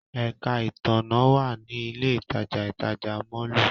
Ẹka itanna wa ni ile itaja itaja mọllu.